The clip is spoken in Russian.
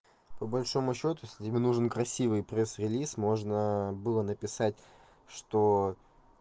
по большому счету с ними нужен красивый пресс релиз можно было написать что